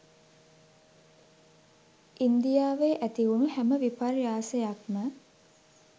ඉන්දියාවේ ඇතිවුණු හැම විපර්යාසයක් ම